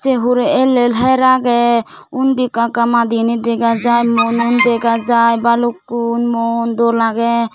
say hure ell ell her age undi ekka ekka madi gani dega jai murogun dega jai balukkun mun dol agey.